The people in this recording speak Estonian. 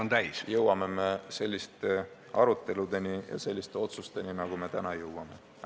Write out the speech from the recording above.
... me jõuamegi selliste arutelude ja otsusteni, nagu me täna oleme jõudnud.